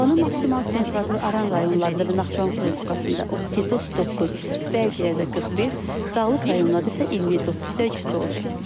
Havanın maksimal temperaturu Aran rayonlarında və Naxçıvan Muxtar Respublikasında 37-39, bəzi yerlərdə 41, Dağlıq rayonlarda isə 27-30 dərəcə isti olacaq.